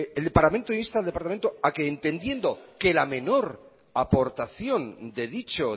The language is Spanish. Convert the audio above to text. el parlamento insta al departamento a que entendiendo que la menor aportación de dicho